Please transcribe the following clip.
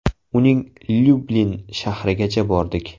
Uning Lyublin shahrigacha bordik.